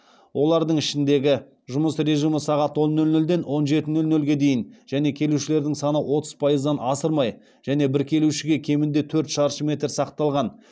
олардың ішіндегі жұмыс режимі сағат он нөл нөлден он жеті нөл нөлге дейін және келушілердің саны отыз пайыздан асырмай және бір келушіге кемінде төрт шаршы метр сақталған